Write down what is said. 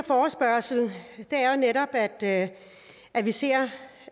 netop at at vi ser